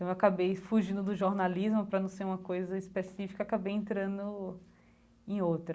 Então acabei fugindo do jornalismo para não ser uma coisa específica, acabei entrando em outra.